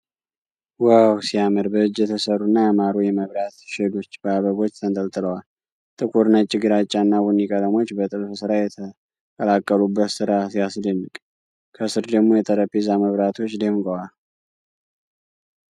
ዋው፣ ሲያምር! በእጅ የተሰሩ እና ያማሩ የመብራት ሼዶች በአበቦች ተንጠልጥለዋል። ጥቁር፣ ነጭ፣ ግራጫ እና ቡኒ ቀለሞች በጥልፍ ስራ የተቀላቀሉበት ስራ ሲያስደንቅ፣ ከስር ደግሞ የጠረጴዛ መብራቶች ደምቀዋል!!።